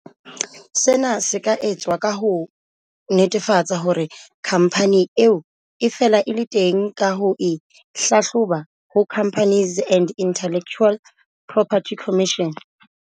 Sena se ka etswa ka ho netefatsa hore khampani eo e fela e le teng ka ho e hlahloba ho Companies and Intellectual Property Commission.